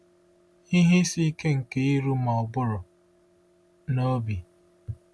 Ihe Isi Ike nke iru Ma ụbụrụ na Obi.